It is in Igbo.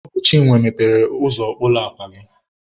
Ọ bụ Chinwe mepere ụzọ ụlọ akwa gị.